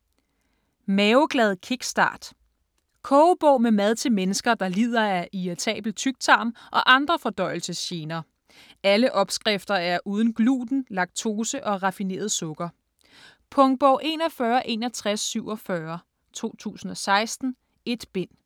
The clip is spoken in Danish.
Maveglad kickstart Kogebog med mad til mennesker, der lider af irritabel tyktarm og andre fordøjelsesgener. Alle opskrifter er uden gluten, laktose og raffineret sukker. Punktbog 416147 2016. 1 bind.